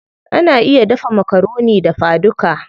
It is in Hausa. Ana iya dafa makaroni dafa duka.